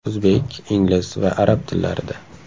O‘zbek, ingliz va arab tillarida.